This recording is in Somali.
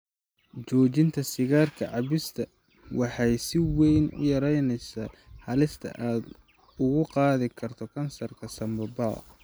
Joojinta sigaar cabista waxay si weyn u yaraynaysaa halista aad ugu qaadi karto kansarka sanbabada.